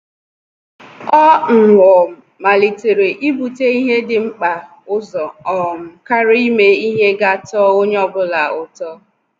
Ọ́ um màlị́tèrè íbùtè ihe dị̀ mkpa ụzọ um kàrị́a ímé ihe gà-àtọ́ onye ọ bụla ụ́tọ́.